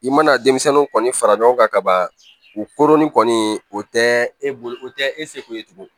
I mana denmisɛnnin kɔni fara ɲɔgɔn kan ka ban u koronni kɔni o tɛ e bolo o tɛ e seko ye tugun